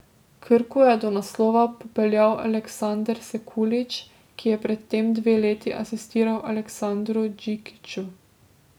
Krko je do naslova popeljal Aleksander Sekulić, ki je pred tem dve leti asistiral Aleksandru Džikiću.